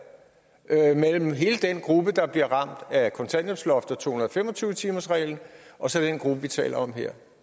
mellem hele den gruppe der bliver ramt af kontanthjælpsloftet og to hundrede og fem og tyve timersreglen og så den gruppe vi taler om her